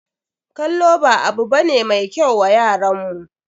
Kallo ba abu ba ne mai kyau wa yaran mu.